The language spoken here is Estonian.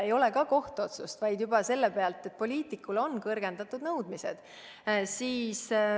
Ei ole tal ka kohtuotsust, vaid ta tegi seda juba sellepärast, et poliitikule on kõrgendatud nõudmised.